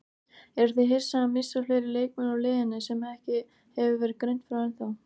Eruð þið að missa fleiri leikmenn úr liðinu sem ekki hefur verið greint frá ennþá?